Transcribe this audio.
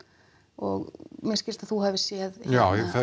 og mér skilst að þú hafir séð já